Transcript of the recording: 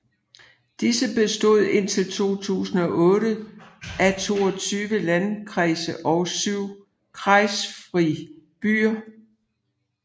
Disse bestod indtil 2008 af 22 landkreise og 7 kreisfrie byer